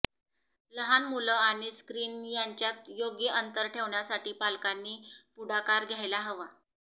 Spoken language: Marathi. लहान मुलं आणि स्क्रीन यांच्यात योग्य अंतर ठेवण्यासाठी पालकांनी पुढाकार घ्यायला हवा